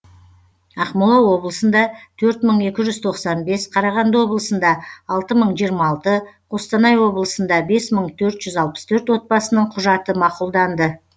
ақмола облысында төрт мың екі жүз тоқсан бес қарағанды облысында алты мың жиырма алты қостанай облысында бес мың төрт жүз алпыс төрт отбасының құжаты мақұлданды